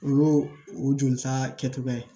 O y'o o jolisa kɛcogoya ye